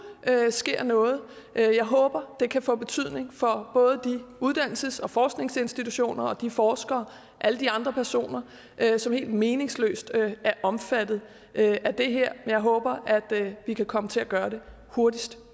sker noget jeg håber det kan få betydning for både de uddannelses og forskningsinstitutioner og de forskere og alle de andre personer som helt meningsløst er omfattet af det her jeg håber at vi kan komme til at gøre det hurtigst